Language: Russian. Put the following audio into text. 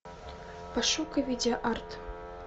пошукай видеоарт